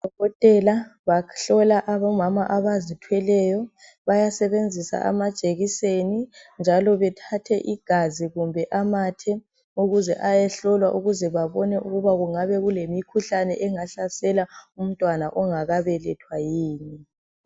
Odokotela bahlola abomama abazithweleyo ,basebenzisa amajekiseni njalo bathathe igazi kumbe amathe ukuze ayehlolwa ukuze babone ukuba kungaba lemikhuhlane engahlasela umntwana ongakabelethwa yini